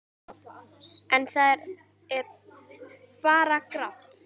En það er bara grátt.